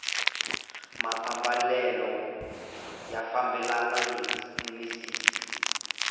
maambalelo ya fambelana ni misisi